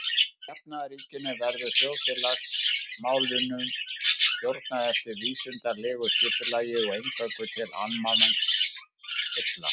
Í jafnaðarríkinu verður þjóðfélagsmálunum stjórnað eftir vísindalegu skipulagi og eingöngu til almenningsheilla.